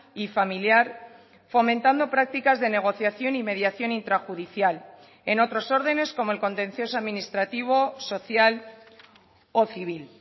y familiar fomentando prácticas de negociación y mediación intrajudicial en otros órdenes como el contencioso administrativo social o civil